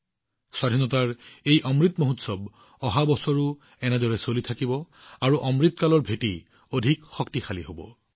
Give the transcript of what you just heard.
এই আজাদী কা অমৃত মহোৎসৱ অহা বছৰো একেধৰণে অব্যাহত থাকিব ই অমৃত কালৰ ভেটি অধিক শক্তিশালী কৰিব